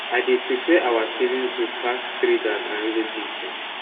i dey prefer our savigns group pass traders and relatives dem